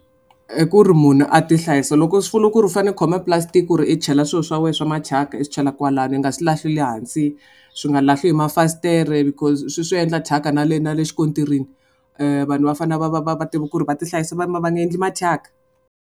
I ku ri munhu a tihlayisa loko swi vula ku ri u fanele u khome pulasitiki ku ri i chela swilo swa wena swa mathyaka i swi chela kwalani i nga swi le hansi swi nga lahli hi mafasitere because swi swi endla thyaka na le na le xikontiri. Vanhu va fanele va va va va tiva ku ri va ti hlayisa va nga endli mathyaka.